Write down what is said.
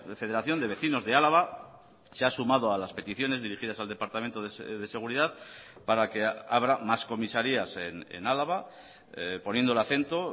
federación de vecinos de álava se ha sumado a las peticiones dirigidas al departamento de seguridad para que abra más comisarías en álava poniendo el acento